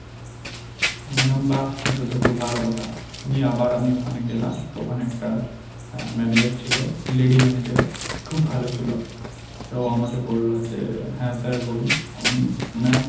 আমি বললাম বা এটা তো খুব ভালো কথা, নিয়ে আবার আমি ওখানে গেলাম, তো ওখানে একটা manager ছিল, lady manager খুব ভালো ছিল, তো আমাকে বলল যে হ্যা sir বলুন, আমি বললাম ma'am,